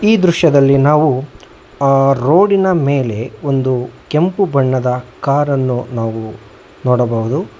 ಈ ದೃಶ್ಯದಲ್ಲಿ ನಾವು ಆ ರೋಡಿ ನ ಮೇಲೆ ಒಂದು ಕೆಂಪು ಬಣ್ಣದ ಕಾರ ನ್ನು ನಾವು ನೋಡಬಹುದು.